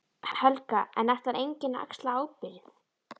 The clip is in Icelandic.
Helga: En ætlar enginn að axla ábyrgð?